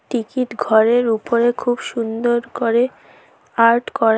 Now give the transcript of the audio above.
Ticket ঘরের উপরে খুব সুন্দর করে আর্ট করা।